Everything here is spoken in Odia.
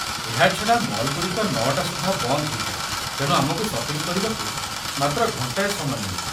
ଏହା ଛଡ଼ା ମଲ୍ ଗୁଡି଼କ ୯ଟା ସୁଦ୍ଧା ବନ୍ଦ ହୋଇଯାଏ ତେଣୁ ଆମକୁ ସପିଂ କରିବାକୁ ମାତ୍ର ଘଣ୍ଟାଏ ସମୟ ମିଳିବ।